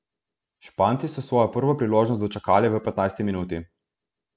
Španci so svojo prvo priložnost dočakali v petnajsti minuti.